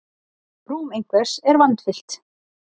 Rúm einhvers er vandfyllt